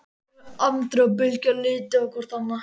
Andri og Bylgja litu hvort á annað.